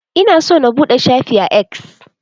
Ina so na buɗe shafi a X.